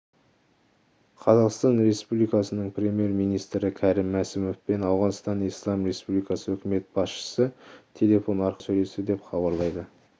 қазақстан республикасының премьер-министрі кәрім мәсімов пен ауғанстан ислам республикасы үкімет басшысы телефон арқылы сөйлесті деп хабарлайды